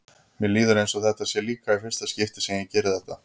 Mér líður eins og þetta sé líka í fyrsta skipti sem ég geri þetta.